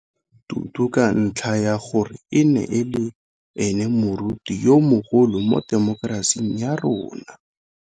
Tutu ka ntlha ya gore e ne e le ene moruti yo mogolo mo temokerasing ya rona.